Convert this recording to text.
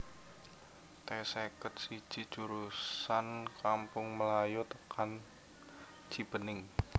T seket siji jurusan Kampung Melayu tekan Cibening